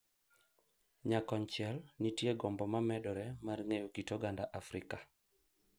Nyakonchiel, nitie gombo ma medore mar ng’eyo kit oganda Afrika,